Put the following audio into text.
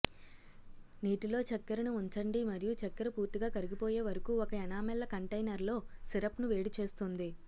నీటిలో చక్కెరను ఉంచండి మరియు చక్కెర పూర్తిగా కరిగిపోయే వరకు ఒక ఎనామెల్ల కంటైనర్లో సిరప్ను వేడి చేస్తుంది